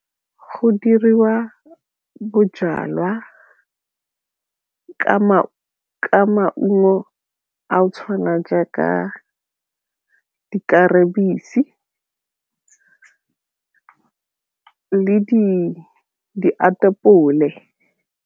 Go diriwa bojalwa ka maungo a go tshwana jaaka .